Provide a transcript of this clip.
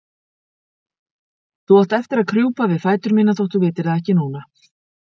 Þú átt eftir að krjúpa við fætur mína þótt þú vitir það ekki núna.